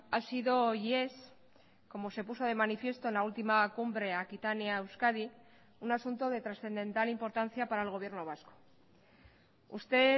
ha sido y es como se puso de manifiesto en la última cumbre aquitania euskadi un asunto de trascendental importancia para el gobierno vasco usted